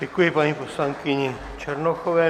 Děkuji paní poslankyni Černochové.